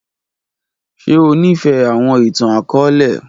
Ṣe o nifẹ awọn itan-akọọlẹ?